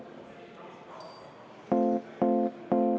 Täpselt.